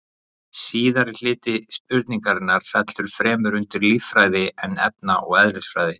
Síðasti hluti spurningarinnar fellur fremur undir líffræði en efna- eða eðlisfræði.